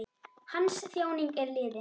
Hans þjáning er liðin.